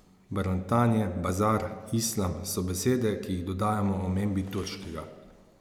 Barantanje, bazar, islam so besede, ki jih dodajamo omembi turškega.